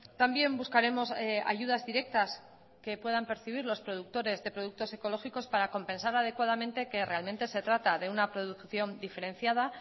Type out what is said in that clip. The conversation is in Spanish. también buscaremos ayudas directas que puedan percibir los productores de productos ecológicos para compensar adecuadamente que realmente se trata de una producción diferenciada